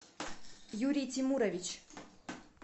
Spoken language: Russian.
юрий тимурович